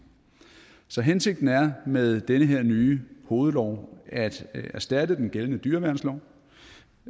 så hensigten med den her nye hovedlov er at erstatte den gældende dyreværnslov